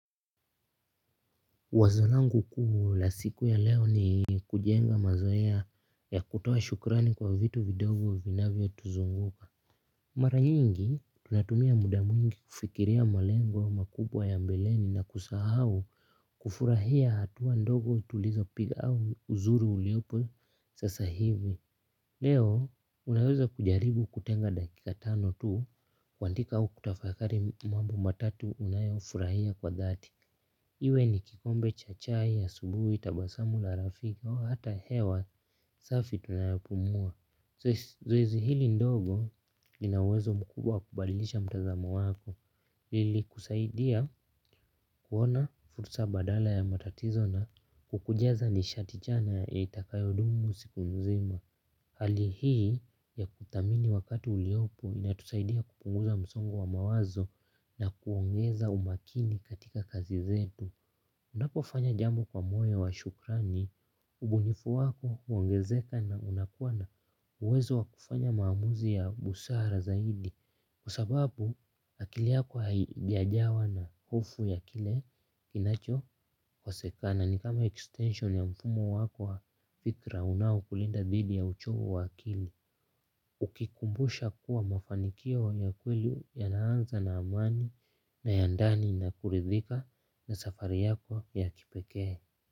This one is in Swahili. Wazo langu kuu la siku ya leo ni kujenga mazoea ya kutoa shukrani kwa vitu vidogo vinavyotuzunguka. Mara nyingi tunatumia muda mwingi kufikiria malengo makubwa ya mbeleni na kusahau kufurahia hatua ndogo tulizopiga au uzuri uliopo sasa hivi. Leo unaweza kujaribu kutenga dakika tano tu kuandika au kutafakari mambo matatu unayofurahia kwa dhati. Iwe ni kikombe cha chai ya asubuhi tabasamu la rafiki hata hewa safi tunayopumua. Zoezi hili ndogo lina uwezo mkubwa kubadilisha mtazamo wako. Lilikusaidia kuona fursa badala ya matatizo na kukujaza nishati chanya yenye itakayodumu usiku nzima. Hali hii ya kuthamini wakati uliopo inatusaidia kupunguza msongo wa mawazo na kuongeza umakini katika kazi zetu. Unapofanya jambo kwa moyo wa shukrani ubunifu wako huongezeka na unakuwa na uwezo wa kufanya maamuzi ya busara zaidi kwa sababu akili yako haijajawa na hofu ya kile kinachokosekana. Ni kama extension ya mfumo wako wa fikra unaokulinda dhidi ya uchovu wa akili. Ukikumbusha kuwa mafanikio ya kweli yanaanza na amani na ya ndani na kuridhika na safari yako ya kipekee.